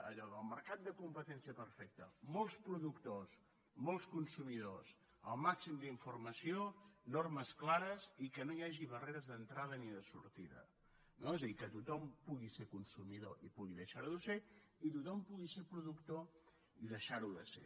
allò del mercat de competència perfecta molts productors molts consumidors el màxim d’informació normes clares i que no hi hagi barreres d’entrada ni de sortida no és a dir que tothom pugui ser consumidor i pugui deixar ho de ser i tothom pugui ser productor i deixar ho de ser